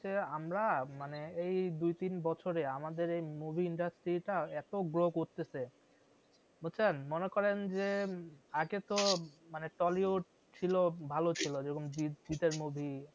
আমরা মানে এই দুই তিন বছরে আমাদের এই movie industry টা এতো grow করতেসে বুঝছেন মনে করেন যে আগে তো মানে tollywood ছিল ভালো ছিল যেরকম জিৎ জিৎ এর movie